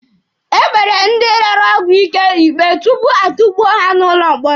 E kpere ndị rere ọgwụ ike ikpe tupu a tukpuo ha n'ụlọ mkpọrọ.